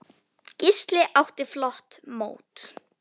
Gísli átti flott mót.